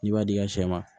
N'i b'a di sɛ ma